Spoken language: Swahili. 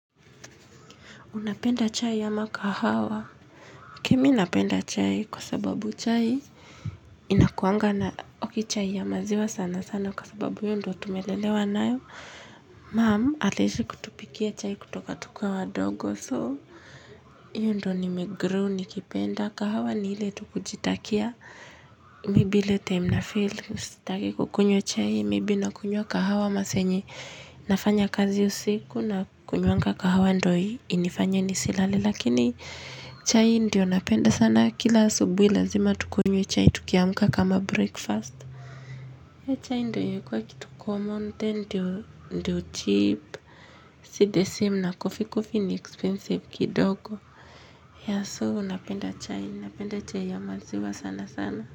Unapenda chai ama kahawa? Kimi napenda chai kwa sababu chai inakuanga na okay, chai ya maziwa sana sana kwa sababu hiyo ndio tumelelewa nayo. Mum aliishi kutupikia chai kutoka tukiwa wadogo. So hiyo ndio nimegrow nikipenda kahawa ni ile tu kujitakia. Maybe ile time nafeel kukunywa chai. Maybe nakunywa kahawa masaa yenye. Nafanya kazi usiku na kunyonga kahawa ndio inifanye nisilale lakini chai ndio napenda sana kila asubuhi lazima tukunywe chai tukiamka kama breakfast. Then chai ndiyo imekuwa kitu common then ndiyo ndiyo cheap, si the same na coffee. Coffee ni expensive kidogo. Yeah so napenda chai, napenda chai ya maziwa sana sana.